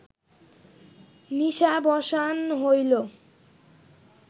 নিশাবসান হইল